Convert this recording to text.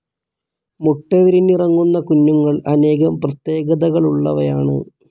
മുട്ട വിരിഞ്ഞിറങ്ങുന്ന കുഞ്ഞുങ്ങൾ അനേകം പ്രത്യേകതകളുള്ളവയാണ്.